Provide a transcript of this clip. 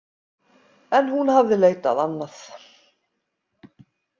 En hún hafði leitað annað.